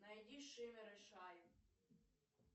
найди шиммер и шайн